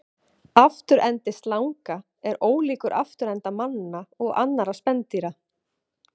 Afturendi slanga er ólíkur afturenda manna og annarra spendýra.